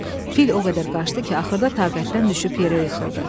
Fil o qədər qaçdı ki, axırda taqətdən düşüb yerə yıxıldı.